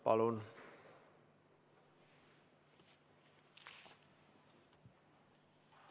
Palun!